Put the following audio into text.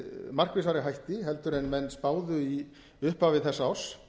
markvissari hætti en menn spáðu í upphafi þess árs